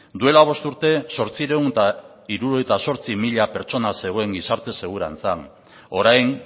duela bost urte zortziehun eta hirurogeita zortzi mila pertsona zegoen gizarte segurantzan orain